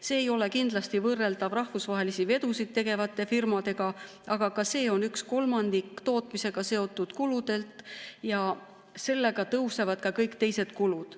See ei ole kindlasti võrreldav rahvusvahelisi vedusid tegevate firmadega, aga ka see on üks kolmandik tootmisega seotud kuludelt ja sellega tõusevad ka kõik teised kulud.